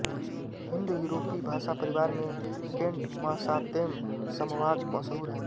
हिन्दयूरोपी भाषा परिवार में केन्टमसातेम समवाक मशहूर है